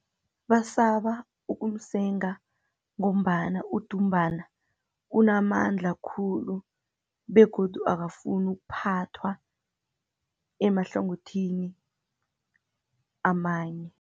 Basaba ukumsenga, ngombana udumbana unamandla khulu, begodu akafuni ukuphathwa, emahlangothini amanye.